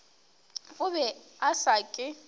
o be a sa ke